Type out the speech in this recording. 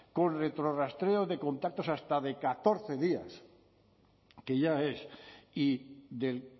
con retrorastreo de contactos hasta de catorce días que ya es y del